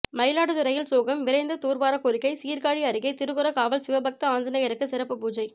மயிலாடுதுறையில் சோகம் விரைந்து தூர்வார கோரிக்கை சீர்காழி அருகே திருக்குர காவல் சிவபக்த ஆஞ்சநேயருக்கு சிறப்பு பூஜை